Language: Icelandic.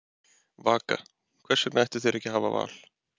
Vaka: Hvers vegna ættu þeir ekki að hafa val?